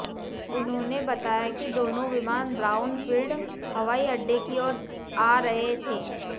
उन्होंने बताया कि दोनों विमान ब्राउन फील्ड हवाईअड्डे की ओर आ रहे थे